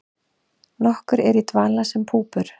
Nokkur eru í dvala sem púpur.